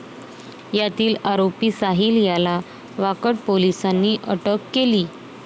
यातील आरोपी साहिल याला वाकड पोलिसांनी अटक केली.